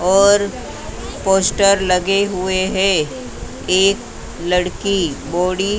और पोस्टर लगे हुए हैं एक लड़की बॉडी --